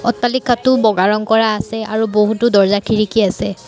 অট্টালিকাটো বগা ৰং কৰা আছে আৰু বহুতো দৰ্জ্জা খিৰিকী আছে।